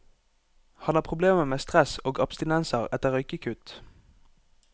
Han har problemer med stress og abstinenser etter røykekutt.